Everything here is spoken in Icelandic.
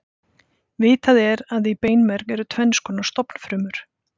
Vitað er að í beinmerg eru tvenns konar stofnfrumur.